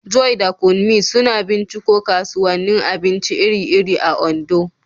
Joy da Kunmi sukan binciko kasuwannin abinci iri-iri a Ondo.